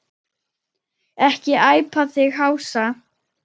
Ekki æpa þig hása!